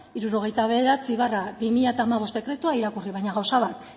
hirurogeita bederatzi barra bi mila hamabost dekretua irakurri baina gauza bat